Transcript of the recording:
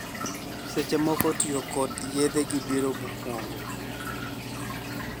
Seche moko tiyo kod yedhe gi biro mokuongo.